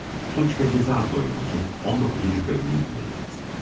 Suç və cəza doylumuzun 19-cu bölümünü dinlədiniz.